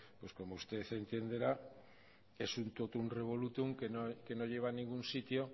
pues como usted entenderá en un totum revolutum que no lleva a ningún sitio